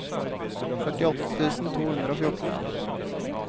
førtiåtte tusen to hundre og fjorten